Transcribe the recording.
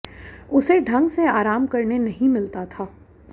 उसे ढंग से आराम करने नहीं मिलता था